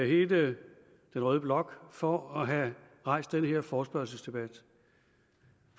hele den røde blok for at have rejst den her forespørgselsdebat